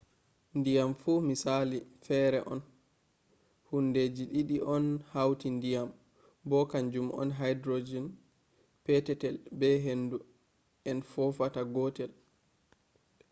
diyam fu misali fere on. hundeji didi on hauti ndiyam bo kanjum on hydrohen petetel be hendu en fofatata godel